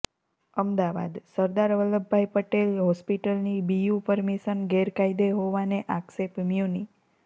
અમદાવાદઃ સરદાર વલ્લભભાઈ પટેલ હોસ્પિટલની BU permission ગેરકાયદે હોવાનો આક્ષેપ મ્યુનિ